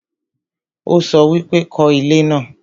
ó sọ wípé 'kọ́ ilé náà'